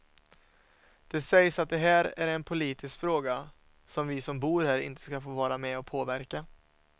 Det sägs att det här är en politisk fråga som vi som bor här inte ska få vara med och påverka.